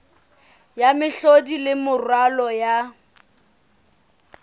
ya mehlodi le moralo wa